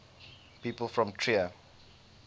people from trier